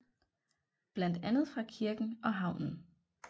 Blandt andet fra kirken og havnen